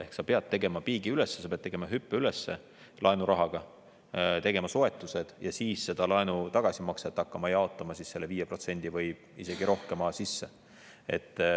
Ehk peab tegema piigi üles, peab tegema hüppe üles laenurahaga, tegema soetused ja siis seda laenu tagasimakset hakkama jaotama selle 5% või isegi rohkema sisse.